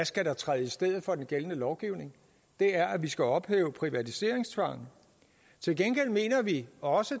skal træde i stedet for den gældende lovgivning er at vi skal ophæve privatiseringstvangen til gengæld mener vi også